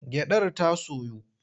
Gyaɗar ta soyu?